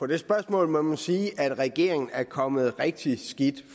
det spørgsmål må man sige at regeringen er kommet rigtig skidt